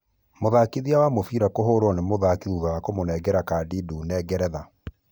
Mũthakithia wa mũbira kũhũrwo ni mũthaki thutha wa kũmũnengera kadi ndune Ngeretha.